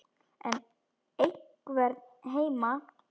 Er einhver heima?